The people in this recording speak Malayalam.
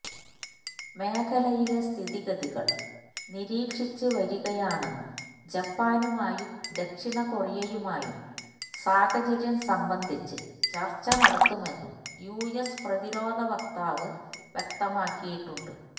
മേഖലയിലെ സ്ഥിതിഗതികൾ നിരീക്ഷിച്ച് നരികയാണെന്നും ജപ്പാനുമായും ദക്ഷിണ കൊറിയുമായും സാഹചര്യം സംബന്ധിച്ച് ചർച്ച നടത്തുമെന്നും യുഎസ് പ്രതിരോധ വക്താവ് വ്യക്തമാക്കിയിട്ടുണ്ട്